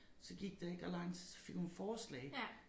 Så gik der ikke ret lang tid så fik hun forslag